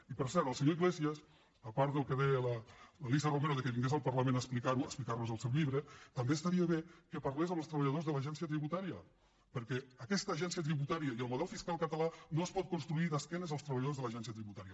i per cert el senyor iglesias a part del que deia l’alícia romero que vingués al parlament a explicar ho a explicar nos el seu llibre també estaria bé que parlés amb els treballadors de l’agència tributària perquè aquesta agència tributària i el model fiscal català no es poden construir d’esquena als treballadors de l’agència tributària